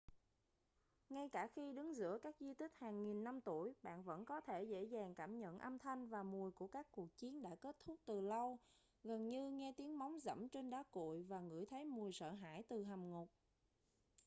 ngay cả khi đứng giữa các di tích hàng nghìn năm tuổi bạn vẫn có thể dễ dàng cảm nhận âm thanh và mùi của các cuộc chiến đã kết thúc từ lâu gần như nghe tiếng móng giẫm trên đá cuội và ngửi thấy mùi sợ hãi từ hầm ngục